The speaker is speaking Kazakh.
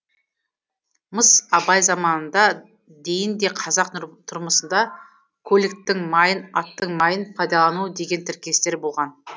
мыс абай заманына дейін де қазақ тұрмысында көліктің майын аттың майын пайдалану деген тіркестер болған